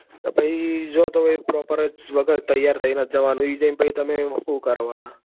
તો જો તો પછી proper જ વગર તૈયાર થઇ ને જ જવા નું ત્યાં જી ને પછી શું કરવા ના?